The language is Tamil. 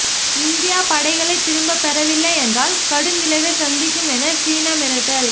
இந்தியா படைகளை திரும்ப பெறவில்லை என்றால் கடும் விளைவை சந்திக்கும் என சீனா மிரட்டல்